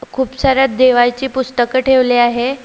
खूपसार्‍या देवाची पुस्तक ठेवले आहे.